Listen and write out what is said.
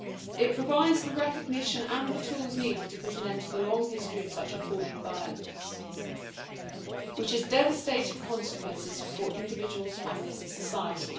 It provides the recognition and the tools needed to put an end to the long history of such appalling violence, which has devastating consequences for individuals, families and society.